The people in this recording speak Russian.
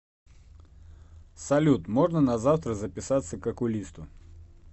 салют можно на завтра записаться к окулисту